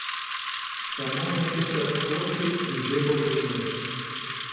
Samo nekajkrat skoči, in že bo pri njej.